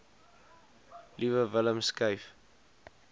liewe willem skryf